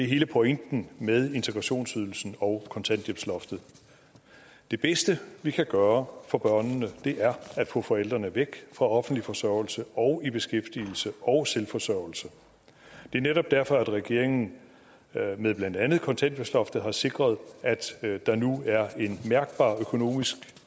hele pointen med integrationsydelsen og kontanthjælpsloftet det bedste vi kan gøre for børnene er at få forældrene væk fra offentlig forsørgelse og i beskæftigelse og selvforsørgelse det er netop derfor at regeringen med blandt andet kontanthjælpsloftet har sikret at der nu er et mærkbart økonomisk